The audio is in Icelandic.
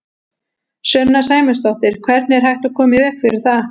Sunna Sæmundsdóttir: Hvernig er hægt að koma í veg fyrir það?